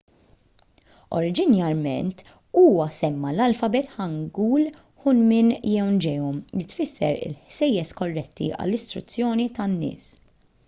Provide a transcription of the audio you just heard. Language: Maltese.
oriġinarjament huwa semma l-alfabet hangeul hunmin jeongeum li tfisser il-ħsejjes korretti għall-istruzzjoni tan-nies